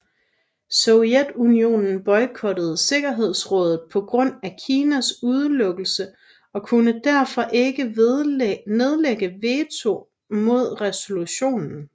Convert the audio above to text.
Sovjetunionen boykottede sikkerhedsrådet på grund af Kinas udelukkelse og kunne derfor ikke nedlægge veto mod resolutionen